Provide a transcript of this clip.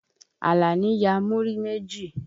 Àlàní ya múrí méjì.